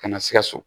Ka na sikaso